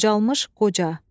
Qocalmış qoca.